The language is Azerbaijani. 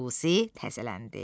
ruzi təzələndi.